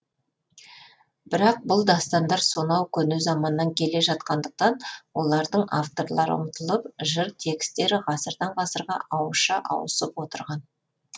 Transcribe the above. бірақ бұл дастандар сонау көне заманнан келе жатқандықтан олардың авторлары ұмытылып жыр текстері ғасырдан ғасырға ауызша ауысып отырған